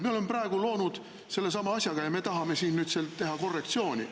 Me oleme praegu loonud sellesama asja ja me tahame siin nüüd teha korrektsiooni.